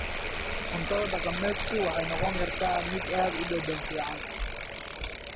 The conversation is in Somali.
Cuntada dhaqameedku waxay noqon kartaa mid aad u dhadhan fiican.